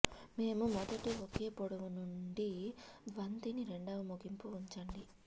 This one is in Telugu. మేము మొదటి ఒకే పొడవు నుండి బంతిని రెండవ ముగింపు ఉంచండి